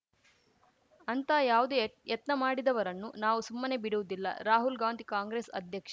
ಅಂಥ ಯಾವುದೇ ಯತ್ ಯತ್ನ ಮಾಡಿದವರನ್ನು ನಾವು ಸುಮ್ಮನೆ ಬಿಡುವುದಿಲ್ಲ ರಾಹುಲ್‌ ಗಾಂಧಿ ಕಾಂಗ್ರೆಸ್‌ ಅಧ್ಯಕ್ಷ